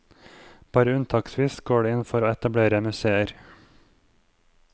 Bare unntaksvis går det inn for å etablere museer.